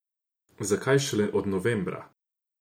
Zakaj šele od novembra?